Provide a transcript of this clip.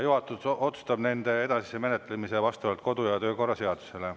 Juhatus otsustab nende edasise menetlemise vastavalt kodu- ja töökorra seadusele.